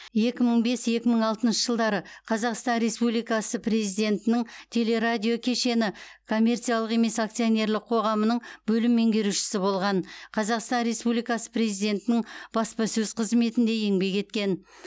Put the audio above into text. екі мың бес екі мың алтыншы жылдары қазақстан республикасы президентінің теле радио кешені коммерциялық емес акционерлік қоғамының бөлім меңгерушісі болған қазақстан республикасы президентінің баспасөз қызметінде еңбек еткен